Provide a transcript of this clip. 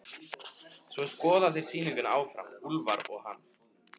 Svo skoða þeir sýninguna saman, Úlfar og hann.